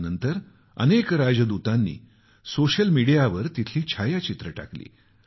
यानंतर अनेक राजदूतांनी सोशल मीडियावर तिथली छायाचित्रं टाकली